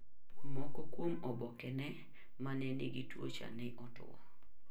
Moko kuom obokene ma ne nigi tuwocha ne otwo.